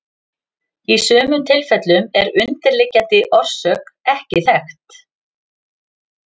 Í sumum tilfellum er undirliggjandi orsök ekki þekkt.